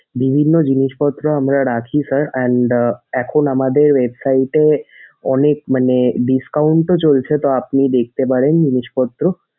বিভিন্ন জিনিসপত্র আমরা রাখি sir and এখন আমাদের website এ অনেক মানে discount ও চলছে তা আপনি দেখতে পারেন জিনিসপত্র।